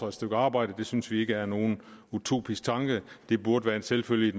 et stykke arbejde det synes vi ikke er nogen utopisk tanke og det burde være en selvfølgelig